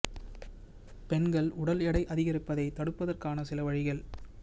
பெண்கள் உடல் எடை அதிகரிப்பதை தடுப்பதற்கான சில வழிகள்